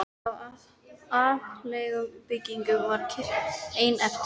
Af upphaflegum byggingum var kirkjan ein eftir.